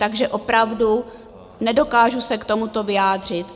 Takže opravdu nedokážu se k tomuto vyjádřit.